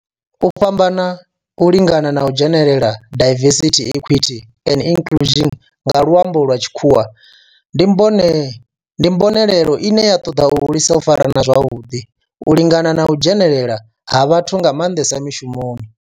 U fhambana, u lingana na u dzhenelela diversity, equity and inclusion nga lwambo lwa tshikhuwa ndi mbonelelo ine ya ṱoḓa u hulisa u farana zwavhudi, u lingana na u dzhenelela ha vhathu nga mandesa mishumoni.